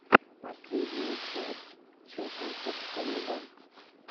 последняя часть черкасовклуба